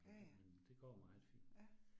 Ja ja, ja